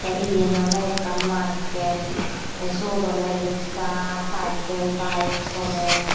tey iyen oley ekkan market tey syot oley riksa cycle bike soley.